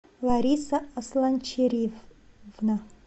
лариса асланчериевна